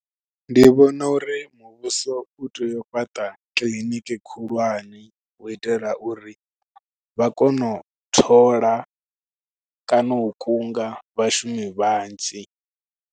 Ndi vhona uri muvhuso u tea u fhaṱa kiliniki khulwane, u itela uri vha kone u thola kana u kunga vhashumi vhanzhi.